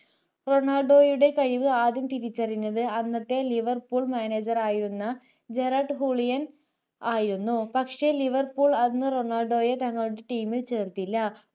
റൊണാൾഡോയുടെ കഴിവു ആദ്യം തിരിച്ചറിഞ്ഞത് അന്നത്തെ liverpoolmanager ആയിരുന്ന ജെറാട്ട് ഹൂളിയൻ ആയിരുന്നു പക്ഷെ liverpool അന്ന്‌ റൊണാൾഡോയെ തങ്ങളുടെ teame ൽ ചേർത്തില്ല